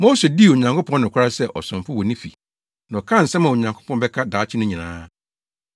Mose dii Onyankopɔn nokware sɛ ɔsomfo wɔ ne fi na ɔkaa nsɛm a Onyankopɔn bɛka daakye no nyinaa.